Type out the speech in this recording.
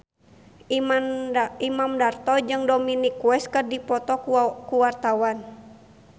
Imam Darto jeung Dominic West keur dipoto ku wartawan